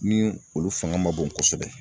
Ni olu fanga ma bon kosɛbɛ